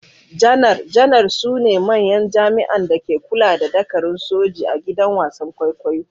Janar-janar su ne manyan jami’an da ke kula da dakarun soji a gidan wasan kwaikwayo.